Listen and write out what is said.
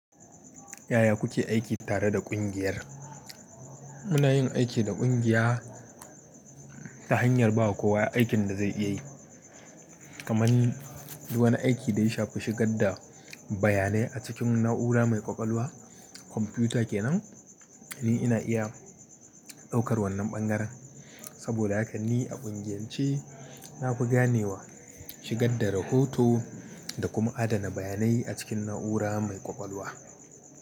Yaya kuke aiki tare da kungiyar? Muna yin aiki da kungiya ta hanyar ba kowa aikin da zai iya yi. Kaman duk wani aiki da ya shafi shigar da bayanai a cikin na’ura mai kwakwalwa. Komfiyuta kenan, ni ina iya ɗaukar wannan ɓangaren. Saboda haka ni a kungiyance na fi ganewa shigar da rahoto da kuma adana bayanai a cikin na’ura mai kwakwalwa.